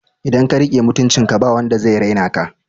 Idan ka riƙe mutuncin ka ba wanda zai raina ka